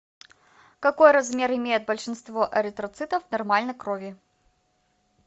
какой размер имеют большинство эритроцитов в нормальной крови